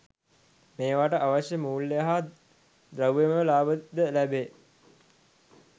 මේවාට අවශ්‍ය මූල්‍ය හා ද්‍රව්‍යමය ලාභ ද ලැබේ.